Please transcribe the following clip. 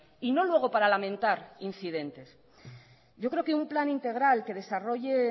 y no luego para lamentar incidentes yo creo que un plan integral que desarrolle